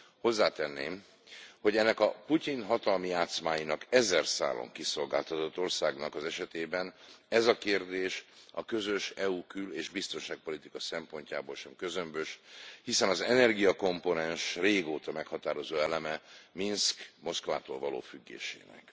Hozzátenném, hogy ennek a Putyin hatalmi játszmáinak ezer szálon kiszolgáltatott országnak az esetében ez a kérdés a közös uniós kül és biztonságpolitika szempontjából sem közömbös, hiszen az energiakomponens régóta meghatározó eleme Minszk Moszkvától való függésének.